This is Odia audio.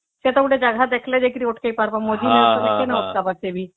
ସେଟା ଗୋଟେ ଜାଗା ଦେଖିଲେ ଯାଇକି ଅଟକେଇ ପାରିବ ମଝି ରାସ୍ତା ରେ କେମେତି ଅଟକେଇବା ସେ ବି